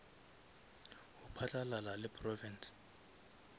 go phatlalala le province